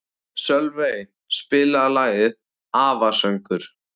Sölvey, spilaðu lagið „Afasöngur“.